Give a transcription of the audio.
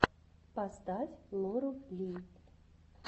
поставь лору ли